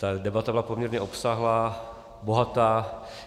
Ta debata byla poměrně obsáhlá, bohatá.